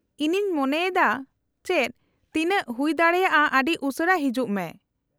-ᱤᱧᱤᱧ ᱢᱮᱱ ᱮᱫᱟ ᱪᱮᱫ, ᱛᱤᱱᱟᱹᱜ ᱦᱩᱭᱫᱟᱲᱮᱭᱟᱜ ᱟᱹᱰᱤ ᱩᱥᱟᱹᱨᱟ ᱦᱤᱡᱩᱜ ᱢᱮ ᱾